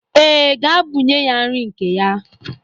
Ee, gaa bunye ya nri nke ya.